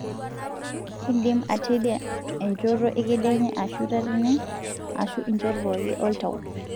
kindim atedia enchoto ekedienye ashu tatene, ashu inchot pooki oltau.